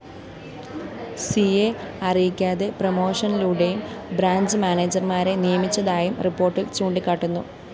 സിയെ അറിയിക്കാതെ പ്രമോഷനിലൂടെയും ബ്രാഞ്ച്‌ മാനേജര്‍മാരെ നിയമിച്ചതായും റിപ്പോര്‍ട്ടില്‍ ചൂണ്ടിക്കാട്ടുന്നു